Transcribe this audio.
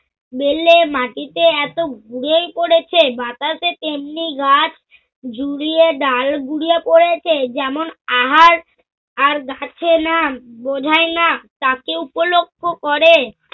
বেলে মাটিতে এত পরেছে। বাতাসে তেমনি গাছ ঝুরিয়ে ডাল ঘুরিয়ে পরেছে যেমন আহার আর গাছে না, বোঝায় না, তাকে উপলক্ষ করে।